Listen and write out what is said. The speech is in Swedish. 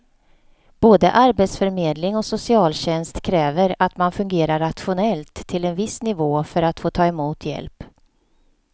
Både arbetsförmedling och socialtjänst kräver att man fungerar rationellt till en viss nivå för att få ta emot hjälp.